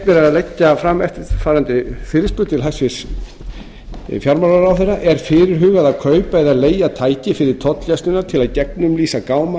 að leggja fram eftirfarandi fyrirspurn til hæstvirts fjármálaráðherra er fyrirhugað að kaupa eða leigja tæki fyrir tollgæsluna til að gegnumlýsa gáma